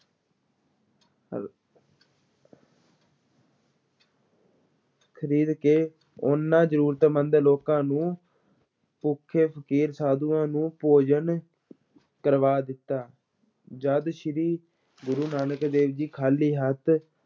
ਖਰੀਦ ਕੇ ਉਹਨਾਂ ਜ਼ਰੂਰਤਮੰਦ ਲੋਕਾਂ ਨੂੰ ਭੁੱਖੇ ਫ਼ਕੀਰ-ਸਾਧੂਆਂ ਨੂੰ ਭੋਜਨ ਕਰਵਾ ਦਿੱਤਾ, ਜਦ ਸ੍ਰੀ ਗੁਰੂ ਨਾਨਕ ਦੇਵ ਜੀ ਖਾਲੀ ਹੱਥ